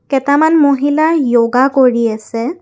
কেটামান মহিলাই য়োগা কৰি আছে।